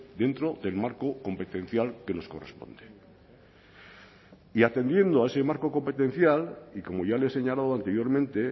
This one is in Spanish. dentro del marco competencial que nos corresponde y atendiendo a ese marco competencial y como ya le he señalado anteriormente